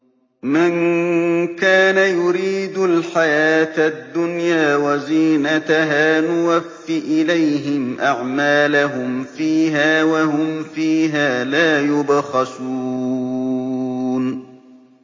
مَن كَانَ يُرِيدُ الْحَيَاةَ الدُّنْيَا وَزِينَتَهَا نُوَفِّ إِلَيْهِمْ أَعْمَالَهُمْ فِيهَا وَهُمْ فِيهَا لَا يُبْخَسُونَ